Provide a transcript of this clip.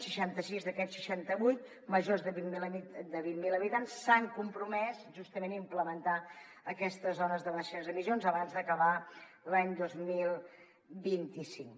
seixanta sis d’aquests seixanta vuit majors de vint mil habitants s’han compromès justament a implementar aquestes zones de baixes emissions abans d’acabar l’any dos mil vint cinc